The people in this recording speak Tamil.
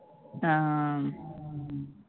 அஹ்